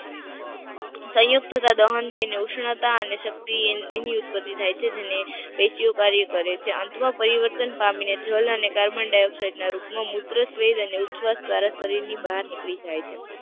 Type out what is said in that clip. સાયુક્તતા દહન થઇ ને ઉષ્ણતા અને શક્તિ ની ઉત્પત્તિ થાય છે જેને પેશી ઓ કાર્ય કરે છે અંત માં પરિવર્તન પામી ને જલ અને કાર્બનડાઈયોક્સાઈડ ના રૂપ માં મૂત્ર સ્વેદ અને ઉછવાસ દ્વારા શરીર ની બહાર નીકળી જાય છે.